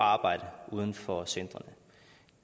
at arbejde uden for centrene